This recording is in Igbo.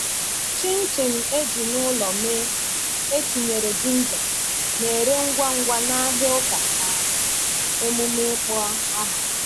Chin-chin e ji n’ụlọ mee, e tinyere ginger, na-ere ngwa ngwa n’ahịa ụka na emume ịkpọ aha.